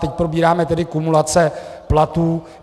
Teď probíráme tedy kumulace platů.